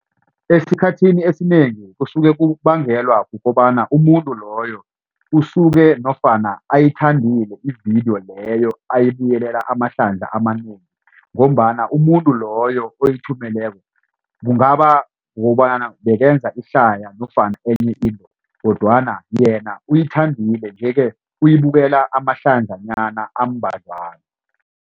Esikhathini esinengi kusuke kubangelwa kukobana umuntu loyo usuke nofana ayithandile ividiyo leyo ayibuyelela amahlandla amanengi ngombana umuntu loyo oyithumeleko kungaba kukobana bekenza ihlaya nofana enye into kodwana yena uyithandile nje ke uyibukela amahlandlanyana ambadlwana.